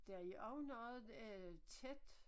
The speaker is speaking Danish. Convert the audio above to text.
Der er også noget øh tæt